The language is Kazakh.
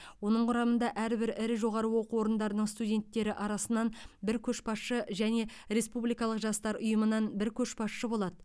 оның құрамында әрбір ірі жоғары оқу орындарының студенттері арасынан бір көшбасшы және республикалық жастар ұйымынан бір көшбасшы болады